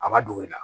A ma don i la